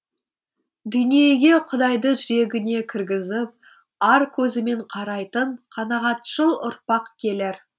дүниеге құдайды жүрегіне кіргізіп ар көзімен қарайтын қанағатшыл ұрпақ келер